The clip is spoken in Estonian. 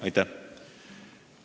Aitäh!